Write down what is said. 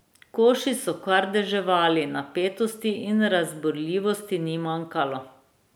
Koši so kar deževali, napetosti in razburljivosti ni manjkalo ...